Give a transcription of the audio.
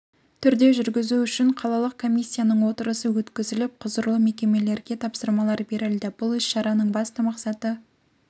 турде жургізу үшін қалалық комиссиясының отырысы өткізіліп құзырлы мекемелерге тапсырмалар берілді бұл іс-шараның басты мақсаты